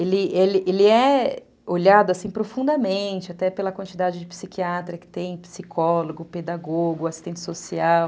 Ele é olhado assim profundamente, até pela quantidade de psiquiatra que tem, psicólogo, pedagogo, assistente social.